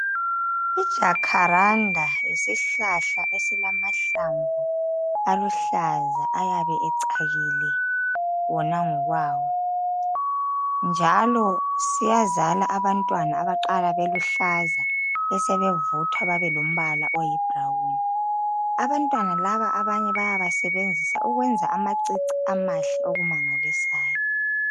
Ijakharanda yisihlahla esilamahlamvu aluhlaza ayabe ecakile wona ngokwayo njalo siyazala abantwana abaqala beluhlaza besebevuthwa bebe lombala oyi brawuni, abantwana laba abanye bayawa sebenzisa ukwenza ama cici amahle okumangalisayo.